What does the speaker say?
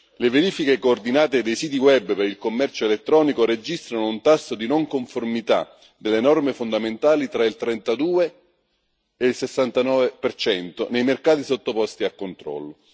Le verifiche coordinate dei siti web per il commercio elettronico registrano un tasso di non conformità delle norme fondamentali tra il 32 e il 69 nei mercati sottoposti a controllo.